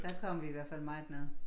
Der kom vi i hvert fald meget nede